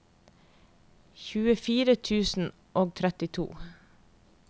tjuefire tusen og trettito